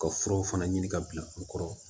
Ka furaw fana ɲini ka bila u kɔrɔ